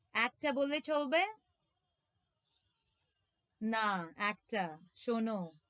একটা বললে চলবে? না, একটা শোনো,